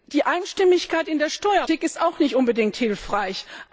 Die Einstimmigkeit in der Steuerpolitik ist auch nicht unbedingt hilfreich.